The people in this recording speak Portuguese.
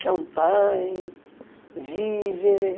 Champagne, Vivere.